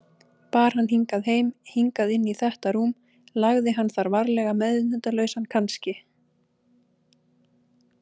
bar hann hingað heim, hingað inn í þetta rúm, lagði hann þar varlega meðvitundarlausan, kannski.